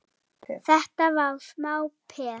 Þetta var smá peð!